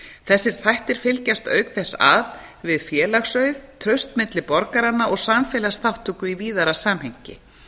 þessir þættir fylgjast auk þess að við félagsauð traust milli borgaranna og samfélagsþátttöku í víðara samhengi